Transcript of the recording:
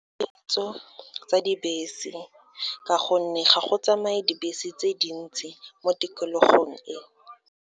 Potso tsa dibese, ka gonne ga go tsamaye dibese tse dintsi mo tikologong e.